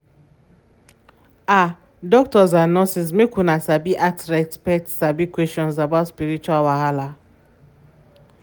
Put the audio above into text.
ah doctors and nurses make una sabi ask respect sabi questions about spiritual wahala.